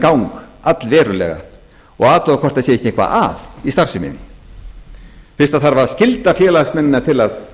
gang allverulega og athuga hvort það sé ekki eitthvað að í starfseminni fyrst það þarf að skylda félagsmennina til að